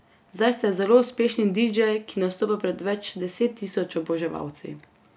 Zdaj ste zelo uspešen didžej, ki nastopa pred več deset tisoč oboževalci.